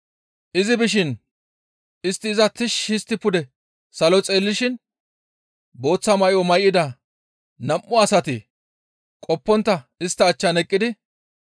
Izi bishin istti iza tishshi histti pude salo xeellishin booththa may7o may7ida nam7u asati qoppontta istta achchan eqqidi,